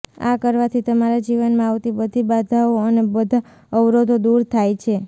આ કરવાથી તમારા જીવનમાં આવતી બધી બાધાઓ અને બધા અવરોધો દૂર થાય છે